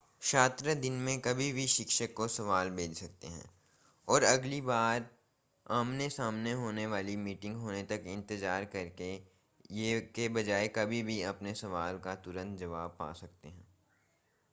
छात्र दिन में कभी भी शिक्षक को सवाल भेज सकते हैं और अगली बार आमने-सामने होने वाली मीटिंग होने तक इंतज़ार करने के बजाय कभी भी अपने सवाल का तुंरत जवाब पा सकते हैं